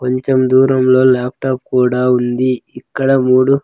కొంచం దూరంలో ల్యాప్టాప్ కూడా ఉంది ఇక్కడ మూడు.